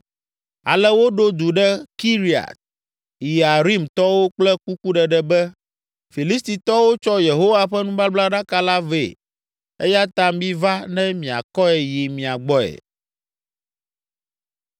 Ale woɖo du ɖe Kiriat Yearimtɔwo kple kukuɖeɖe be, “Filistitɔwo tsɔ Yehowa ƒe nubablaɖaka la vɛ eya ta miva ne miakɔe yi mia gbɔe.”